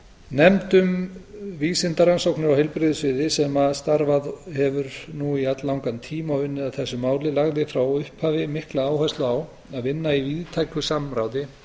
nefnd um vísindarannsóknir á heilbrigðissviði sem starfað hefur nú í alllangan tíma og unnið að þessu máli lagði frá upphafi mikla áherslu á að vinna í víðtæku samráði